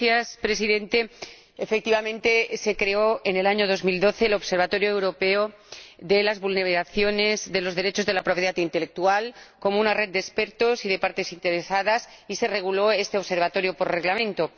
Señor Presidente, efectivamente en el año 2012 se creó el Observatorio Europeo de las Vulneraciones de los Derechos de la Propiedad Intelectual como una red de expertos y de partes interesadas, y se reguló este Observatorio por reglamento.